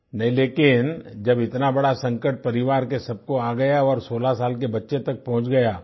नहीं लेकिन जब इतना बड़ा संकट परिवार के सबको आ गया और 16 साल के बच्चे तक पहुँच गया